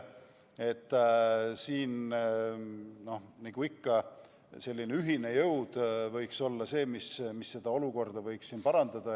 Siin võiks, nagu ikka, ühine jõud olukorda parandada.